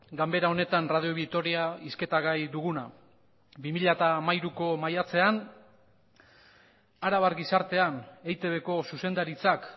ganbera honetan radio vitoria hizketa gai duguna bi mila hamairuko maiatzean arabar gizartean eitbko zuzendaritzak